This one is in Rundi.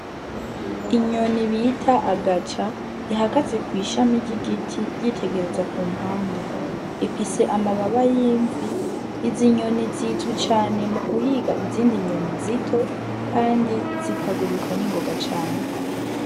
Inyoni bita agaca ihakatse kw'ishami ry'igiti ryitegereza ku mpande ifise amababa y'imvi izi inyoni zizwi cane mu guhiga izindi nyoni zito, kandi zikaguruka n'ingoga cane.